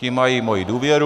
Ti mají moji důvěru.